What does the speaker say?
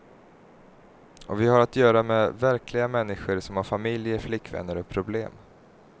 Och vi har att göra med verkliga människor som har familjer, flickvänner och problem.